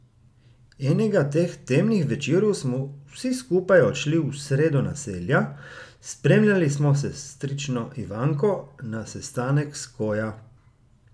Enega teh temnih večerov smo vsi skupaj odšli v sredo naselja, spremljali smo sestrično Ivanko na sestanek Skoja.